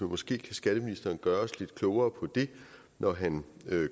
måske kan skatteministeren gøre os lidt klogere på det når han